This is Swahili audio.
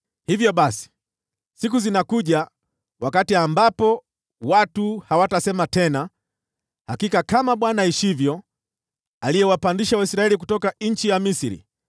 “Hivyo basi, siku zinakuja, wakati ambapo watu hawatasema tena, ‘Hakika kama Bwana aishivyo, aliyewapandisha Waisraeli kutoka Misri,’